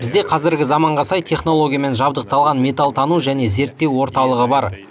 бізде қазіргі заманға сай технологиямен жабдықталған металтану және зерттеу орталығы бар